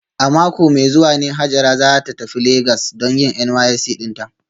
A mako mai zuwa ne Hajara za ta tafi Legas don yin NYSC dinta